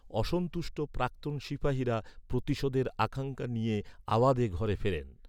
অসন্তুষ্ট প্রাক্তন সিপাহিরা প্রতিশোধের আকাঙ্ক্ষা নিয়ে আওয়াধে ঘরে ফেরেন।